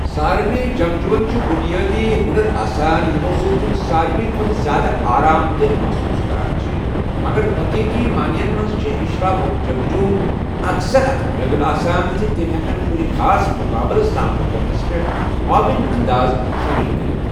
سارنٕے جنگجوٗوَن چھِ بُنیٲدی ہُنَر آسان یِمَو سۭتۍ تِم ساروِی کھۄتہٕ زِیٛادٕ آرام دہ محسوٗس کران چھِ، مگر حٔقیٖقی مانٮ۪ن منٛز چھِ اشرافیہٕک جنگجوٗ اَکثر اَتھ قٲبِل آسان زِ تِمۍ ہٮ۪کَن کُنہِ خاص مُقابلَس سامنہٕ کرنَس پٮ۪ٹھ معاون اندازٕ شٲمِل کٔرِتھ۔